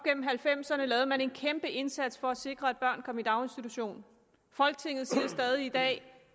halvfemserne lavede man en kæmpe indsats for at sikre at børn kom i daginstitution folketinget siger stadig i dag